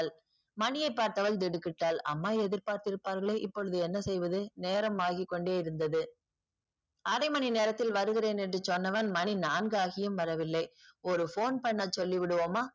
மணியை பார்த்தவள் திடுக்கிட்டாள் அம்மா எதிர்பார்த்து இருப்பார்களே! இப்போது என்ன செய்வது? நேரம் ஆகி கொண்டேயிருந்தது அரை மணி நேரத்தில் வருகின்றேன் என்று சொன்னவன் மணி நான்கு ஆகியும் வரவில்லை. ஒரு போன் பண்ண சொல்லிவிடுவோமா?